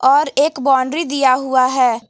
और एक बाउंड्री दिया हुआ है।